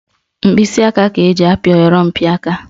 Mkpịsịaka ka eji apị oyorompịaka